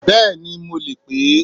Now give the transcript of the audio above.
Béèni mo leè pè é